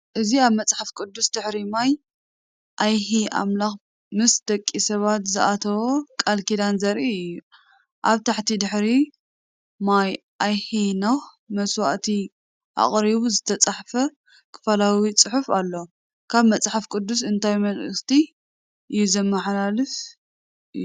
እዚ ኣብ መጽሓፍ ቅዱስ ድሕሪ ማይ ኣይሂ ኣምላኽ ምስ ደቂ ሰባት ዝኣተዎ ቃል ኪዳን ዘርኢ እዩ። ኣብ ታሕቲ "ድሕሪ ማይ ኣይሂ ኖህ መስዋእቲ ኣቕሪቡ"ዝተጻሕፈ ከፊላዊ ጽሑፍ ኣሎ። ካብ መጽሓፍ ቅዱስ እንታይ መልእኽቲ እዩ ዘመሓላልፍ እዩ?